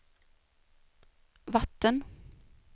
vatten